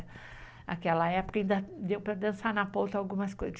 Naquela época ainda deu para dançar na ponta algumas coisas.